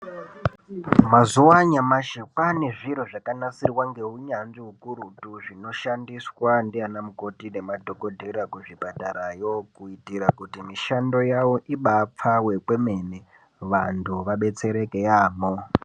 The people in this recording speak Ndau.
Mazuva anyamashi kwaane zviro zvakanasirwa ngowunyanzvu hukurutu zvino shandiswa ndi ana mukoti nemadhokoteya kuzvipatara iyoo kubvundira kuti mishando yavo ibayi pfave kwemene vandu vabetsereke yaambo.